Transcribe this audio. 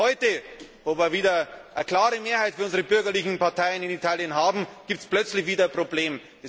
Heute, wo wir wieder eine klare Mehrheit für unsere bürgerlichen Parteien in Italien haben, gibt es plötzlich wieder Probleme.